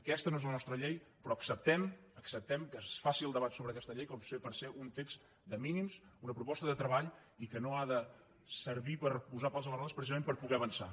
aquesta no és la nostra llei però acceptem que es faci el debat sobre aquesta llei perquè sigui un text de mínims una proposta de treball i que no ha de servir per posar pals a les rodes precisament per poder avançar